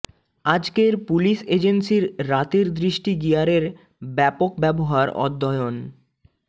আজকের পুলিশ এজেন্সির রাতের দৃষ্টি গিয়ারের ব্যাপক ব্যবহার অধ্যয়ন